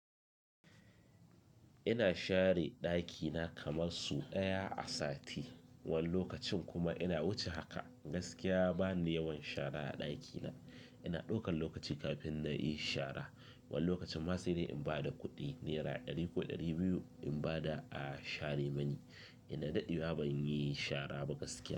Ina share ɗakina kamar so ɗaya a sati. Wani lokacin kuma ina wuce haka. Gaskiya, bani yawan shara a ɗakina. Gaskiya, bani yawan shara a ɗakina. Wani lokacin ma sai dai in ba da kuɗi, nera ɗari ko ɗari biyu, in ba da a, share mani. Ina daɗewa ban yi shara ba gaskiya.